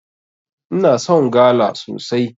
Ina son gala sosai.